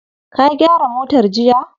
Ka gyara motar jiya?